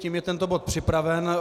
Tím je tento bod připraven.